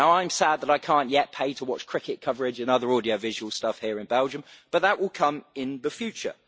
Now I am sad that I cannot yet pay to watch cricket coverage and other audiovisual stuff here in Belgium, but that will come in the future.